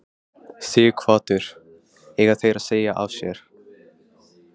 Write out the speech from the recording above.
Sighvatur: Eiga þeir að segja af sér?